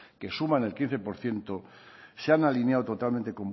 que suman el quince por ciento se han alineado totalmente